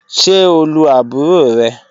Ṣe o lu aburo rẹ?